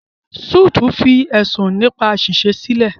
Suits fi ẹ̀sùn nípa àṣìṣe sílẹ̀.